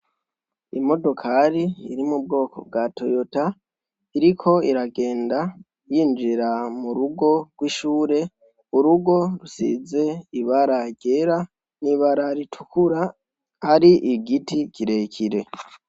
Imodokari iri mubwoko bwa toyota iriko iragenda yinjira murugo rwishure, urugo rusize ibara ryera nibara ritukura hari igiti kirekire.